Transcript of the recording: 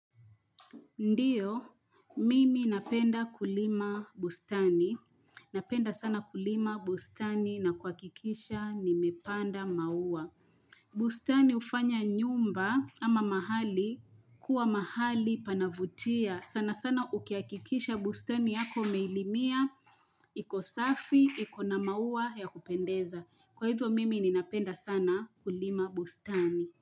Ndiyo, mimi napenda kulima bustani. Napenda sana kulima bustani na kuhakikisha nimepanda maua. Bustani hufanya nyumba ama mahali kuwa mahali panavutia. Sana sana ukihakikisha bustani yako umeilimia, iko safi, iko na maua ya kupendeza. Kwa hivyo mimi ni napenda sana kulima bustani.